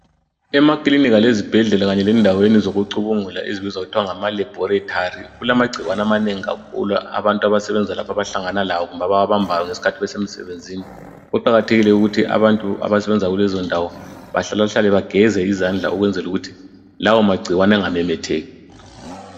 emakinika kanye lezibhedlela kanye lendaweni zokucubungula ezibizwa kuthwa ngama laboratory kulama gcikwane amanengi kakhulu abantu abasebenza abahlangana lawo kumbe abawabambayo ngesikhathi besemsebenzini kuqakathekile ukuthi abantu abasebenza kulezo ndawo bahlalahlale begeze izandla ukwenzela ukuthi lawo magcikwane engamemetheki